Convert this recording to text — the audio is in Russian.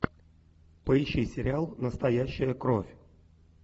поищи сериал настоящая кровь